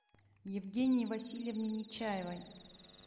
евгении васильевне нечаевой